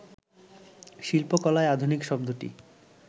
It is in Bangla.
শিল্পকলায় ‘আধুনিক’ শব্দটি